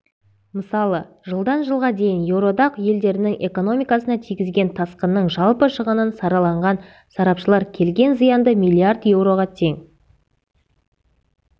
мысалы жылдан жылға дейін еуроодақ елдерінің экономикасына тигізген тасқынның жалпы шығынын саралаған сарапшылар келген зиянды миллиард еуроға тең